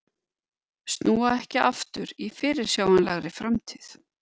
Snúa ekki aftur í fyrirsjáanlegri framtíð